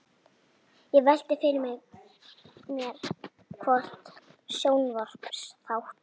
Ég velti því fyrir mér hvort sjónvarpsþátt